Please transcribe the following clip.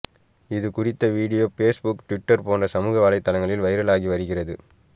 இது குறித்த video Facebook Twitter போன்ற சமூக வலைதளங்களில் வைரலாகி வருகிறது